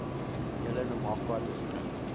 hele namakwa distrik